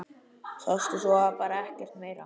Sástu svo bara ekkert?